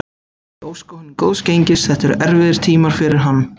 Ég óska honum góðs gengis, þetta eru erfiðir tímar fyrir hann.